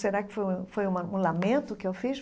Será que foi um foi uma um lamento que eu fiz?